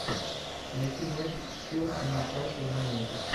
найти матч челси ньюкасл юнайтед